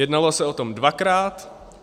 Jednalo se o tom dvakrát.